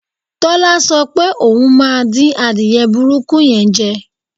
Tọ́lá so̩ pé òun máa dín adìye̩ burúkú ye̩n je̩